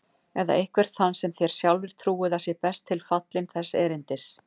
Eða einhvern þann sem þér sjálfir trúið að sé best tilfallinn þess erindis.